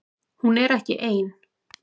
Hún er ekki ein